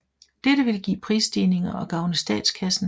Dette ville give prisstigninger og gavne statskassen